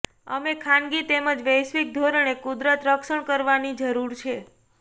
અમે ખાનગી તેમજ વૈશ્વિક ધોરણે કુદરત રક્ષણ કરવાની જરૂર છે